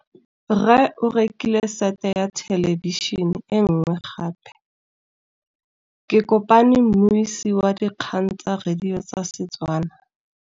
Rre o rekile sete ya thêlêbišênê e nngwe gape. Ke kopane mmuisi w dikgang tsa radio tsa Setswana.